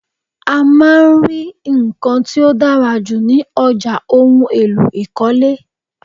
A máa ń rí nkan tí ó dára jù ní ọjà ohùn èlò ikọle